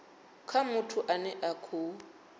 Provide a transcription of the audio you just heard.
kha muthu ane a khou